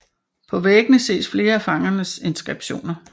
På væggene ses flere af fangernes inskriptioner